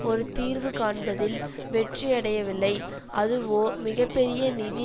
ஒரு தீர்வு காண்பதில் வெற்றி அடையவில்லை அதுவோ மிக பெரிய நிதி